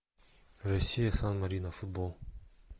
россия сан марино футбол